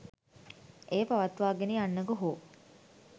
එය පවත්වාගෙන යන්නකු හෝ